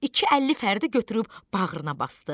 İki əlli Fəridi götürüb bağrına basdı.